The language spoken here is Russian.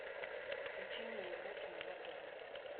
включи мне еврокино на тв